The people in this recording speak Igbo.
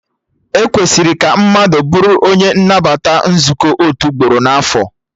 E kwesịrị ka mmadụ bụrụ onye nnabata nzukọ otu ugboro na afọ